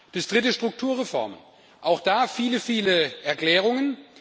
Das dritte, Strukturreformen auch da viele, viele Erklärungen.